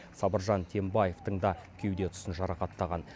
сабыржан тембаевтың да кеуде тұсын жарақаттаған